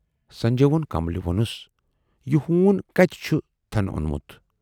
"سنجے وون کملہِ وونُس"یہِ ہوٗن کتہِ چھُ تھَن اونمُت؟